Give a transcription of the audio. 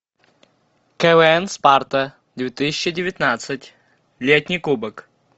квн спарта две тысячи девятнадцать летний кубок